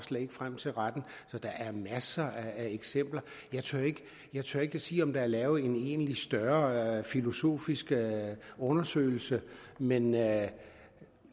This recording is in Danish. frem til retten så der er masser af eksempler jeg tør ikke sige om der er lavet en egentlig større filosofisk undersøgelse men jeg